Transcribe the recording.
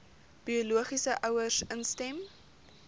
biologiese ouers instem